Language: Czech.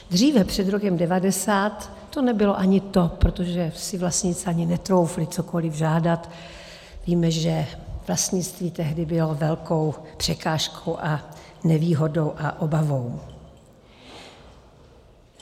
Dříve před rokem 1990 to nebylo ani to, protože si vlastníci ani netroufli cokoli žádat, víme, že vlastnictví tehdy bylo velkou překážkou a nevýhodou a obavou.